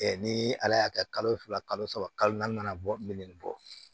ni ala y'a kɛ kalo fila kalo saba kalo naani nana bɔ min bɔ